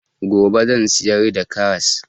Gobe zan siyar da karras